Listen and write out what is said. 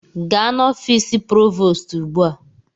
Gaa n'ọfịs Provoostu ugbu a!